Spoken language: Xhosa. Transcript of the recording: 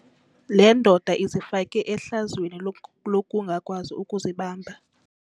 Le ndoda izifake ehlazweni lokungakwazi ukuzibamba.